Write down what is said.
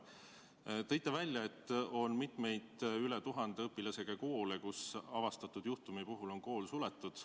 Te tõite välja, et on mitmeid üle 1000 õpilasega koole, kus ühe avastatud juhtumi puhul on kool suletud.